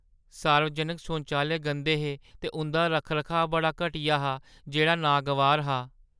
सार्वजनक शौचालय गंदे हे ते उंʼदा रक्ख-रखाऽ बड़ा घटिया हा, जेह्ड़ा नागवार हा।